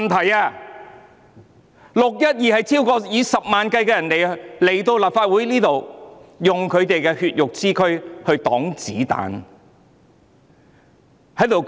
在"六一二"事件中，有數以十萬計的市民來到立法會，以他們的血肉之軀抵擋子彈。